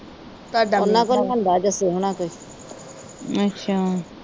ਅੱਛਾ।